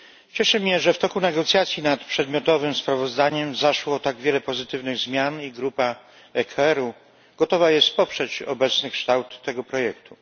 Cieszy mnie, że w toku negocjacji nad przedmiotowym sprawozdaniem zaszło tak wiele pozytywnych zmian i grupa ECR gotowa jest poprzeć obecny kształt tego projektu.